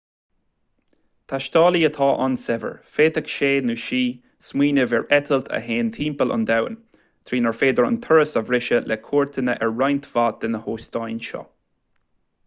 taistealaí atá an-saibhir féadfaidh sé/sí smaoineamh ar eitilt a théann timpeall an domhain trínar féidir an turas a bhriseadh le cuairteanna ar roinnt mhaith de na hóstáin seo